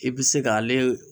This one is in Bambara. I bi se k'ale